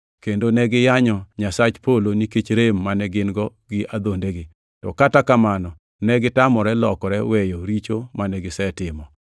kendo ne giyanyo Nyasach polo nikech rem mane gin-go gi adhondegi; to kata kamano negitamore lokore weyo richo mane gisetimo.